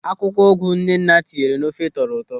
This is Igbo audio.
Akwụkwọ ụgụ Nnenna tinyere n'ofe tọrọ ụtọ.